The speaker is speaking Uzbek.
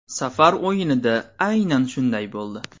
Safar o‘yinida aynan shunday bo‘ldi.